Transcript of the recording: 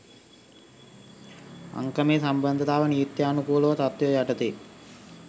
අංකමේ සම්බන්ධව නීත්‍යානුකූල තත්ත්වය යටතේ